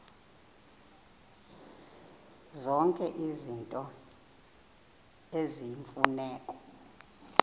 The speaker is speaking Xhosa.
zonke izinto eziyimfuneko